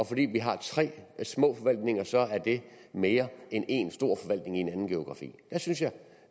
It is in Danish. fordi vi har tre små forvaltninger så er det mere end én stor forvaltning i en anden geografi der synes jeg